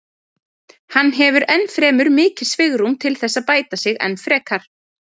Hann hefur ennfremur mikið svigrúm til þess að bæta sig enn frekar.